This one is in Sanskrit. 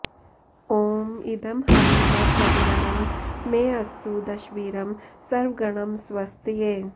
ॐ इदं हविः प्रजननं मेऽस्तु दशवीरं सर्वगणं स्वस्तये